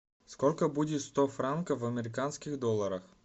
сколько будет сто франков в американских долларах